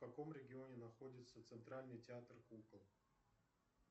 в каком регионе находится центральный театр кукол